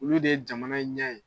Olu de ye jamana in ɲɛ ye.